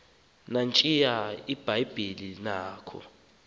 nantsiya ibhayibhile yakho